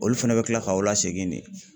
Olu fɛnɛ bɛ kila k'aw lasegin ne.